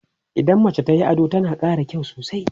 idan mace tayi ado tana ƙara kyau